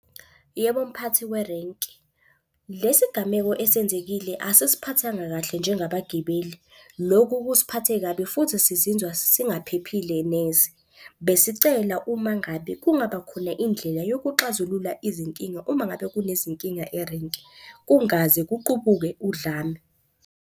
Yebo, mphathi werenki. Lesi gameko esenzekile asisiphathanga kahle njengabagibeli, loku kusiphathe kabi futhi sizinzwa singaphephile neze. Besicela uma ngabe kungaba khona indlela yokuxazulula izinkinga uma ngabe kunezinkinga erenki, kungaze kuqubuke udlame.